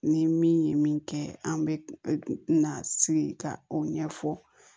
Ni min ye min kɛ an bɛ na sigi ka o ɲɛfɔ